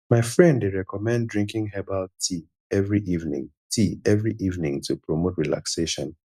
my friend dey recommend drinking herbal tea every evening tea every evening to promote relaxation